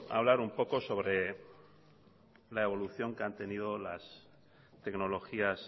hablar un poco sobre la evolución que han tenido las tecnologías